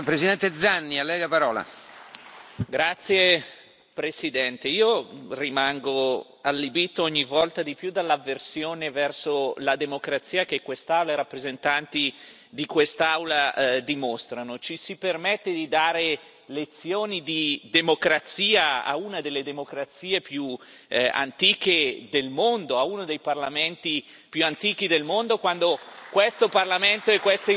Signor Presidente, onorevoli colleghi, rimango allibito ogni volta di più dall'avversione verso la democrazia che quest'Aula e i rappresentanti di quest'Aula dimostrano. Ci si permette di dare lezioni di democrazia a una delle democrazie più antiche del mondo, a uno dei parlamenti più antichi del mondo, quando questo Parlamento e queste istituzioni hanno dimostrato,